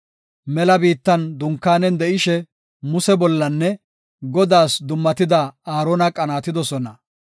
Mela biittan dunkaanen de7ishe Musenne Godaas dummatida Aarona qanaatidosona.